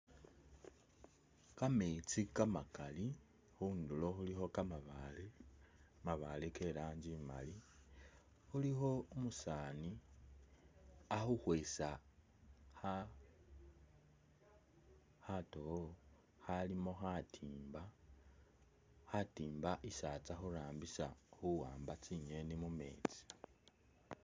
Kametsi kamakali, khundulo khulikho kamabaale, kamabaale ke lanji imali, khulikho umusaani akhukhwesa kha khatowo khalimo khatimba, khatimba isi atsa hurambisa khuwamba tsi'ngeni mumetsi